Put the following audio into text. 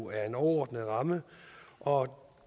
er en overordnet ramme og